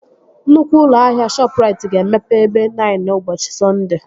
Nnukwu ụlọ ahịa Shọpụrait ga-emepe ebe nine ụbọchị Sọnde